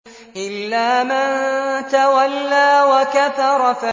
إِلَّا مَن تَوَلَّىٰ وَكَفَرَ